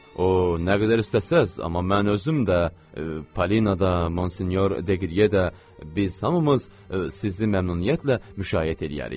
O, nə qədər istəsəniz, amma mən özüm də, Polina da, Monsinyor Deqriye də, biz hamımız sizi məmnuniyyətlə müşayiət eləyərik.